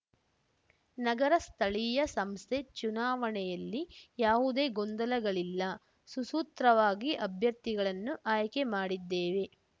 ನಗರ ಸ್ಥಳೀಯ ಸಂಸ್ಥೆ ಚುನಾವಣೆಯಲ್ಲಿ ಯಾವುದೇ ಗೊಂದಲಗಳಿಲ್ಲ ಸುಸೂತ್ರವಾಗಿ ಅಭ್ಯರ್ಥಿಗಳನ್ನು ಆಯ್ಕೆ ಮಾಡಿದ್ದೇವೆ